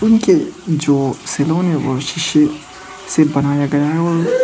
उनके जो से बनाया गया है और--